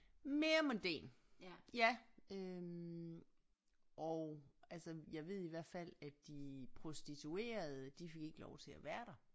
Mere mondæn ja øh og altså jeg ved i hvert fald at de prostituerede de fik ikke lov til at være der